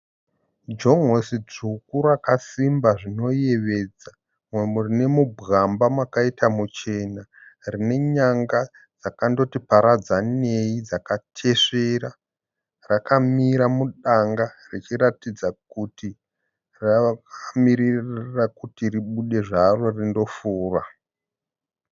Jon'osi dzvuku rakasimba zvinoyevedza. Umu rinemubwamba makaita muchena. Rinenyanga dzakandoti paradzaneyi dzakatesvera. Rakamira mudanga richiratidza kuti rakamirira kuti ribude zvaro rindofura.